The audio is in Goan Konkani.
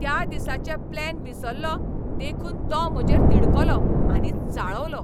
त्या दिसाचे प्लॅन विसरलों देखून तो म्हजेर तिडकलो आणि चाळवलो.